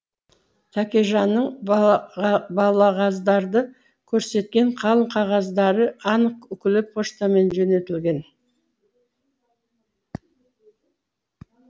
тәкежанның балағаздарды көрсеткен қалың қағаздары анық үкілі почтамен жөнелтілген